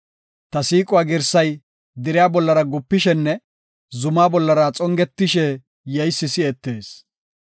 Ta siiquwa girsay deriya bollara gupishenne, zumaa bollara xongetishe yeysi si7etees.